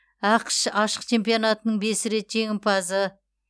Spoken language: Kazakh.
ақш ашық чемпионатының бес рет жеңімпазы